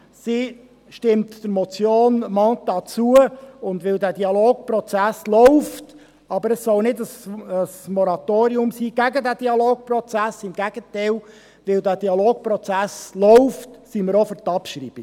Sie stimmt der Motion Mentha zu, und weil der Dialogprozess läuft – das soll aber kein Moratorium gegen den Dialogprozess sein, im Gegenteil –, sind auch wir für die Abschreibung.